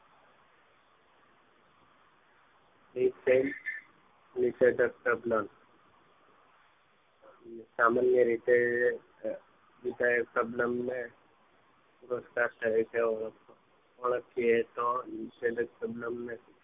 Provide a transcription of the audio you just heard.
નીસે નીશેચક સબ્લમ સામાન્ય રીતે એ સબ્લમ ને સપ્સ્તા થાય છે ઓળખેયે તો નીસેચક સબ્લમ ને